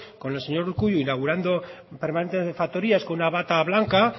con el señor urkullu inaugurando permanentes de factorías con una bata blanca